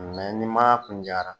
n'i man kun